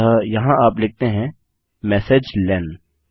अतः यहाँ आप लिखते हैं मेसेजलेन